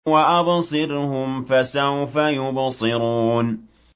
وَأَبْصِرْهُمْ فَسَوْفَ يُبْصِرُونَ